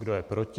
Kdo je proti?